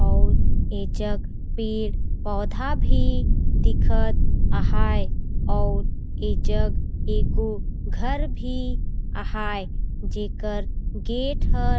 अउर ऐजग पेड़-पौधा भी दिखत आहाए आउर ऐ जग एगो घर भी आहाए जेकर गेट ह--